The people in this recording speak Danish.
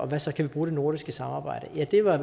hvad så kan vi bruge det nordiske samarbejde ja det var